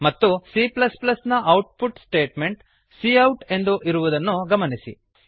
ಮತ್ತು cನ output statement cout ಎಂದು ಇರುವುದನ್ನು ಗಮನಿಸಿ